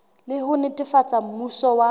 le ho netefatsa mmuso wa